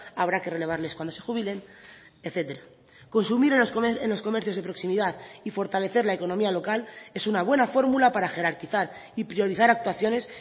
habrá que relevarles cuando se jubilen etcétera consumir en los comercios de proximidad y fortalecer la economía local es una buena fórmula para jerarquizar y priorizar actuaciones